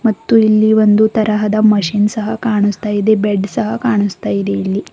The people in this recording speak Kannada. ಮತ್ತು ಇಲ್ಲಿ ಒಂದು ತರಹದ ಮಷೀನ್ ಸಹ ಕಾಣಿಸ್ತಾ ಇದೆ ಬೆಡ್ ಸಹ ಕಾಣಿಸ್ತಾ ಇದೆ.